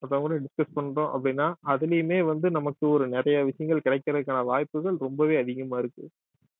மத்தவங்களோட discuss பண்றோம் அப்படின்னா அதிலேயுமே வந்து நமக்கு ஒரு நிறைய விஷயங்கள் கிடைக்கிறதுக்கான வாய்ப்புகள் ரொம்பவே அதிகமா இருக்கு